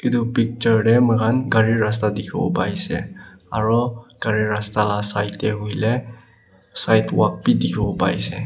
etu picture teh moikhan gari rasta dikhibo pai se aro gari raste lah side teh hoile side walk bhi dikhibole pai se.